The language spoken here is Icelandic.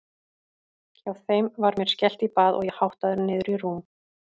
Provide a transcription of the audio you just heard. Hjá þeim var mér skellt í bað og ég háttaður niður í rúm.